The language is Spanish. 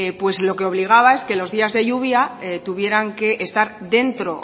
pues lo que obligaba es que los días de lluvia tuvieran que estar dentro